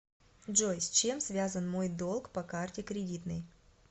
джой с чем связан мой долг по карте кредитной